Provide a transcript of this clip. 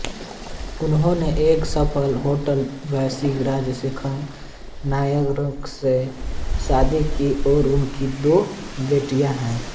उन्होंने एक सफल होटल व्यवसायी राजसेकरन नायर से शादी की और उनकी दो बेटियां हैं